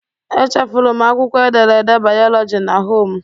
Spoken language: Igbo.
Echefuru m akwụkwọ ederede bayoloji na hom.